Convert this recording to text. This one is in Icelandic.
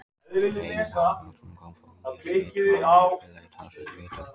Reynir Haraldsson kom frá ÍR í vetur og hann hefur spilað talsvert í vetur.